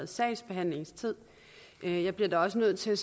sagsbehandlingstid jeg bliver dog også nødt til